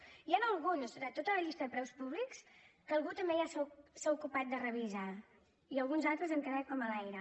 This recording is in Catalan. n’hi han alguns de tota la llista de preus públics que algú també ja s’ha ocupat de revisar i alguns altres han quedat com a l’aire